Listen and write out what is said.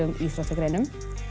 íþróttagreinum